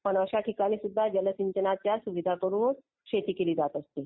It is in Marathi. पण अशा ठिकाणी सुद्धा जलसिंचनाच्या सुविधा करून शेती केली जात असते.